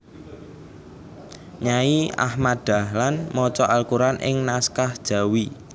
Nyai Ahmad Dahlan maca Al Quran ing naskah Jawi